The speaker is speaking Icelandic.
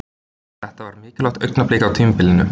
Þetta var mikilvægt augnablik á tímabilinu.